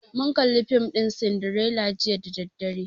Mun kalli fim ɗin sindirela jiya da daddare